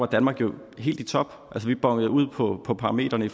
danmark var helt i top vi bonede ud på parametrene i